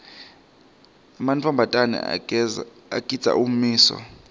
emantfombatana agindza ummiso